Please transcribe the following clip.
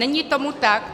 Není tomu tak.